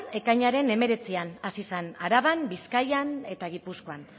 ekainaren hemeretzian hasi zen araban bizkaian eta gipuzkoan